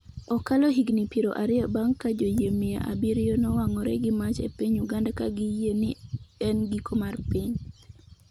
Okalo higni piero ariyo bang’ ka joyie mia abiriyo nowang’ore gi mach e piny Uganda ka giyie ni en giko mar piny